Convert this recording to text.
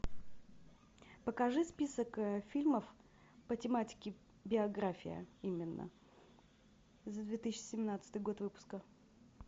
покажи список фильмов по тематике биография именно за две тысячи семнадцатый год выпуска